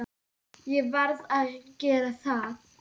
Ég varð að gera það.